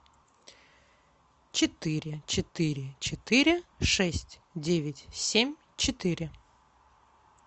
четыре четыре четыре шесть девять семь четыре